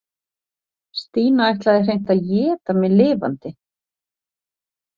Stína ætlaði hreint að éta mig lifandi.